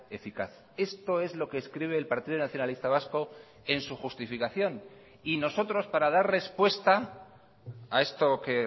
eficaz esto es lo que escribe el partido nacionalista vasco en su justificación y nosotros para dar respuesta a esto que